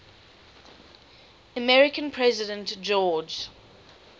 american president george